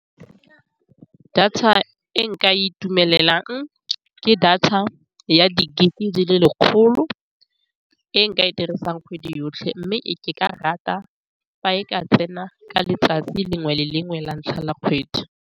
Data e nka itumelelang ke data ya di-gig-e di le lekgolo. E nka e dirisang kgwedi yotlhe, mme ke ka rata fa e ka tsena ka letsatsi lengwe le lengwe la ntlha la kgwedi.